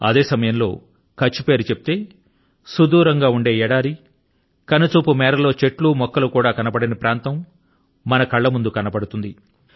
అదే సమయంలో కచ్ఛ్ పేరు చెప్తే సుదూరంగా ఉండే ఎడారి కనుచూపు మేరలో చెట్లు మొక్కలు కూడా కనబడని ప్రాంతం మన కళ్ల ముందు కనబడుతుంది